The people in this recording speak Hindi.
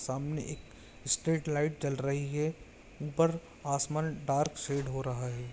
सामने एक स्ट्रीट लाइट जल रही है ऊपर आसमान डार्क शेड हो रहा है।